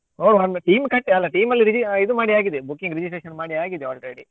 ನೋಡುವ ಒಂದು team ಕಟ್ಟಿ ಅಲ್ಲ team ಅಲ್ಲಿ re~ ಮಾಡಿ ಆಗಿದೆ booking registration ಮಾಡಿ ಆಗಿದೆ already .